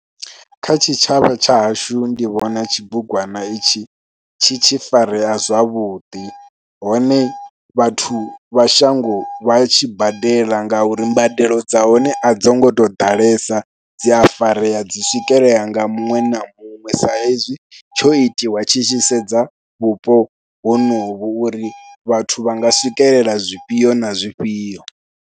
Kha tshitshavha tsha hashu ndi vhona tshibugwana itshi tshi tshi farea zwavhuḓi hone vhathu vha shango vha tshi badela ngauri mbadelo dza hone a dzo ngo u tou ḓalesa dzi a farea, dzi swikelelea nga muṅwe na muṅwe saizwi tsho itiwa tshi tshi sedza vhupo honovho uri vhathu vha nga swikelela zwifhio na zwifhio.